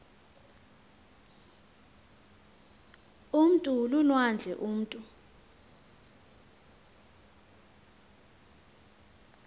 umntu lulwandle umutu